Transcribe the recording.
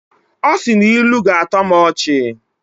Ọ sị na ilu ga-atọ m ọchị